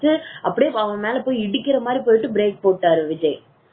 பயந்து அப்படியே அவன் மேல போய் இடிக்கிற மாதிரி போயிட்டு break போட்டாரு விஜய்